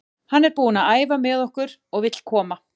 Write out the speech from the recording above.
Hann er búinn að æfa með okkur og vill koma.